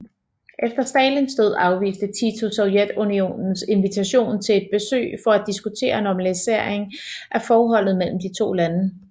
Efter Stalins død afviste Tito Sovjetunionens invitation til et besøg for at diskutere normalisering af forholdet mellem de to lande